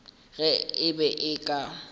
ge e be e ka